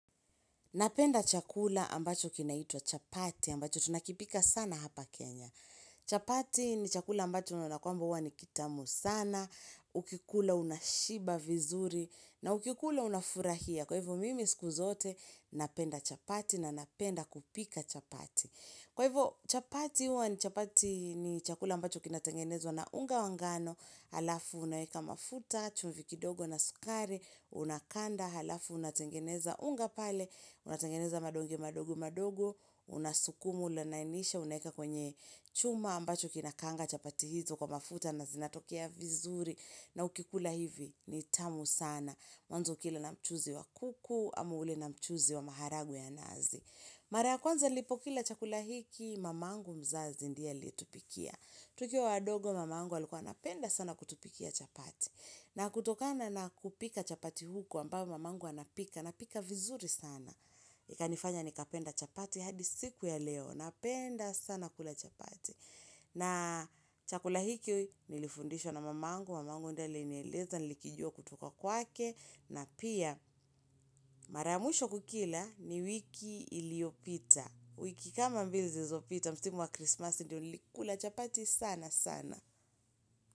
Napenda chakula ambacho kinaitwa chapati, ambacho tunakipika sana hapa Kenya. Chapati ni chakula ambacho unaona kwamba huwa ni kitamu sana, ukikula unashiba vizuri, na ukikula unafurahia. Kwa hivyo mimi siku zote, napenda chapati na napenda kupika chapati. Kwa hivyo chapati huwa ni chapati ni chakula ambacho kinatengenezwa na unga wa ngano, halafu unaweka mafuta, chumvi kidogo na sukari, unakanda, halafu unatengeneza unga pale, unatengeneza madonge madogo madogo, unasukumu unalainisha, unaweka kwenye chuma ambacho kinakaanga chapati hizo kwa mafuta na zinatokea vizuri. Na ukikula hivi, ni tamu sana. Mwanzo ukila na mchuzi wa kuku, ama ule na mchuzi wa maharagwe ya nazi. Mara ya kwanza nilpokila chakula hiki, mamangu mzazi ndiye aliyetupikia. Tukiwa wadogo mamangu alikuwa anapenda sana kutupikia chapati. Na kutokana na kupika chapati huko ambao mamangu anapika. Napika vizuri sana. Ikanifanya nikapenda chapati hadi siku ya leo. Napenda sana kula chapati. Na chakula hiki nilifundishwa na mamangu. Mamangu ndiye anieleza nilikijua kutoka kwake. Na pia mara ya mwisho kukila ni wiki iliyopita. Wiki kama mbili zilzopita. Msimu wa Krismasi ndio nilikula chapati sana sana.